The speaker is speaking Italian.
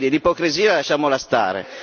Quindi, l'ipocrisia lasciamola stare.